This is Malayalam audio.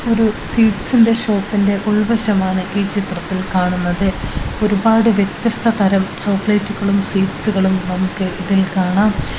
ഒരു സ്വീറ്റ്സിന്റെ ഷോപ്പിൻ്റെ ഉൾവശമാണ് ഈ ചിത്രത്തിൽ കാണുന്നത് ഒരുപാട് വ്യത്യസ്ത തരം ചോക്ലേറ്റുകളും സ്വീറ്റ്സ്കളും നമുക്ക് ഇതിൽ കാണാം.